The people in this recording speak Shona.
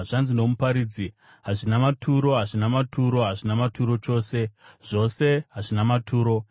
Zvanzi noMuparidzi, “Hazvina maturo! Hazvina maturo! Hazvina maturo chose! Zvose hazvina maturo.”